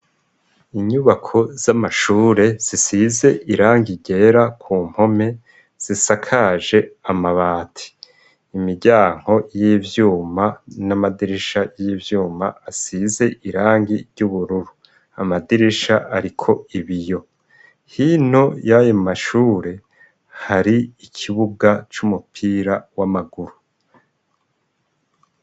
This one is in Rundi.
Inyubako z'amashure zisize irangi ryera ku mpome zisakaje amabati imiryango y'ivyuma n'amadirisha y'ivyuma asize irangi ryubururu, amadirisha ariko ibiyo hino yayo mashure hari ikibuga c'umupira w'amaguru.